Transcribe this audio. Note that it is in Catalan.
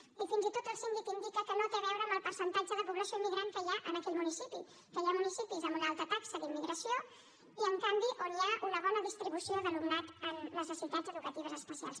i fins i tot el síndic indica que no té a veure amb el percentatge de població immigrant que hi ha en aquell municipi perquè hi ha municipis amb una alta taxa d’immigració i en canvi on hi ha una bona distribució d’alumnat amb necessitats educatives especials